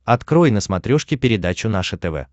открой на смотрешке передачу наше тв